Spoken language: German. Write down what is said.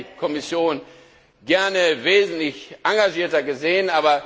Da hätte ich die Kommission gerne wesentlich engagierter gesehen.